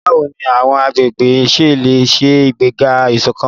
Báwo ni àwọn agbègbè ṣe lè ṣe ìgbéga ìṣọ̀kan?